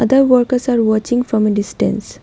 the workers are watching from a distance.